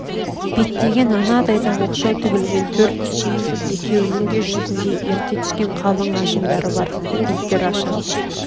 беттеген анадайға оқшау тіглген төрт үй екеунің де жүзінде ерте түскен қалың ажымдары бар беттер ашаң